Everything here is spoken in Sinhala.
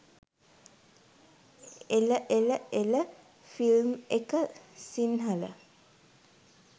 එල එල එල ෆිල්ම් එක සින්හල